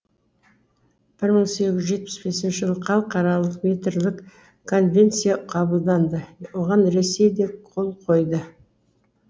бір мың сегіз жүз жетпіс бесінші жылы хал қаралық метрлік конвенция қабылданды оған ресей де қол қойды